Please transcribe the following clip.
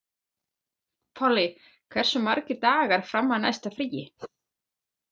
Polly, hversu margir dagar fram að næsta fríi?